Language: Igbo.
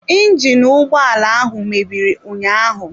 Injinu ụgbọ ala ahụ mebiri ụnyaahụ.